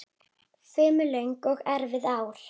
Fimm löng og erfið ár.